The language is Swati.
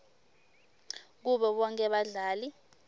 kubo bonkhe badlali